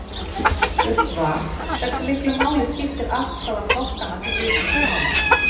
Spurt var Hversu miklu mál skiptir afstaða flokkanna til viðkomandi mála?